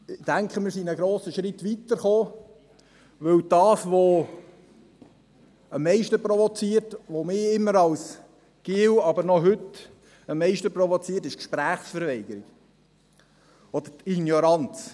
Ich denke, wir sind einen grossen Schritt weitergekommen, denn das, was mich am meisten provoziert, was mich schon als Bub am meisten provoziert hat und es heute noch tut, ist die Gesprächsverweigerung oder die Ignoranz.